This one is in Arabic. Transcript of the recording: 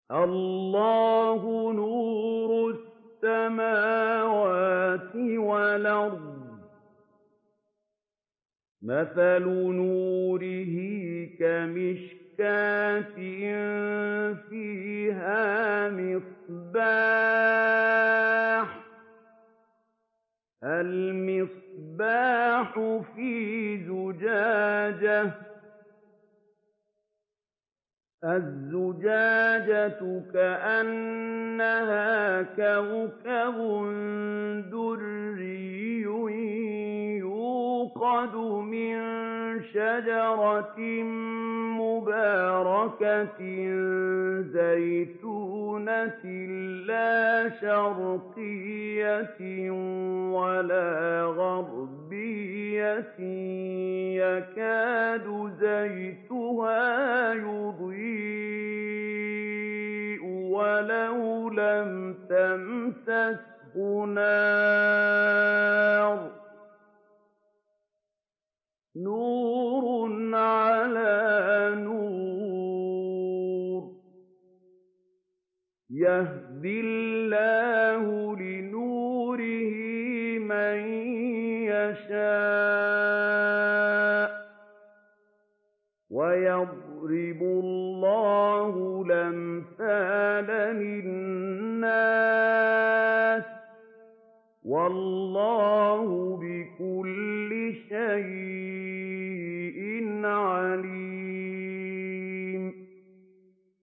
۞ اللَّهُ نُورُ السَّمَاوَاتِ وَالْأَرْضِ ۚ مَثَلُ نُورِهِ كَمِشْكَاةٍ فِيهَا مِصْبَاحٌ ۖ الْمِصْبَاحُ فِي زُجَاجَةٍ ۖ الزُّجَاجَةُ كَأَنَّهَا كَوْكَبٌ دُرِّيٌّ يُوقَدُ مِن شَجَرَةٍ مُّبَارَكَةٍ زَيْتُونَةٍ لَّا شَرْقِيَّةٍ وَلَا غَرْبِيَّةٍ يَكَادُ زَيْتُهَا يُضِيءُ وَلَوْ لَمْ تَمْسَسْهُ نَارٌ ۚ نُّورٌ عَلَىٰ نُورٍ ۗ يَهْدِي اللَّهُ لِنُورِهِ مَن يَشَاءُ ۚ وَيَضْرِبُ اللَّهُ الْأَمْثَالَ لِلنَّاسِ ۗ وَاللَّهُ بِكُلِّ شَيْءٍ عَلِيمٌ